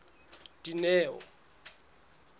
dineo